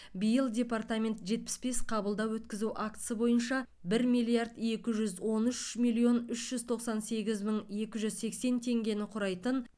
биыл департамент жетпіс бес қабылдау өткізу актісі бойынша бір миллиард екі жүз он үш миллион үш жүз тоқсан сегіз мың екі жүз сексен теңгені құрайтын